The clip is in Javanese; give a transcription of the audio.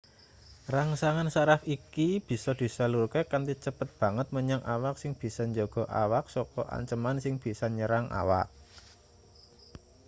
rangsangan saraf iki bisa disalurke kanthi cepet banget menyang awak sing bisa njaga awak saka anceman sing bisa nyerang awak